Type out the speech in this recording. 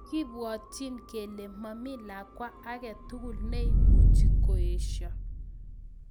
Kipwatchin kelee Mami lakwaa age tugul neimuchii koeshoo